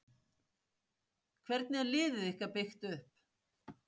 Hvernig er liðið ykkar byggt upp?